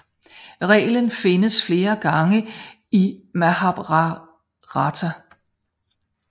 Reglen nævnes flere gange i Mahabharata